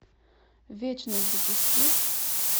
вечность запусти